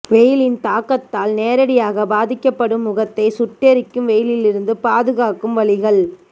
வெயிலின் தாக்கத்தால் நேரடியாகப் பாதிக்கபடும் முகத்தை சுட்டெரிக்கும் வெயிலிருந்து பாதுகாக்கும் வழிகள்